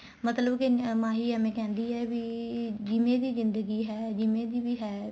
ਮਤਲਬ ਕੇ ਮਾਹੀ ਐਵੇ ਕਹਿੰਦੀ ਏ ਵੀ ਜਿਵੇਂ ਦੀ ਜ਼ਿੰਦਗੀ ਹੈ ਜਿਵੇਂ ਦੀ ਵੀ ਹੈ